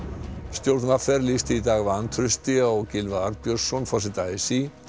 stjórn v r lýsti í dag vantrausti á Gylfa Arnbjörnsson forseta a s í